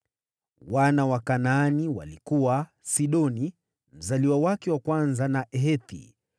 Wana wa Kanaani walikuwa: Sidoni, mzaliwa wake wa kwanza, na Hethi,